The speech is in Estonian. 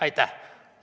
Aitäh!